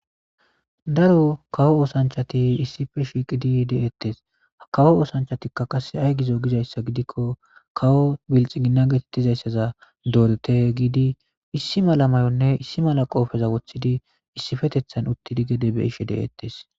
daro kawo oosanchati issife shiiqidi de7ettes ha kawo oosanchatikka qase ay gizo gizayssa gidikko kawo bilxi ginna geetettizayssaza doorete giidi issi mala mayonne issi mala qoofeza woththidi issifetethan uttidi gede be'ishe de7ettes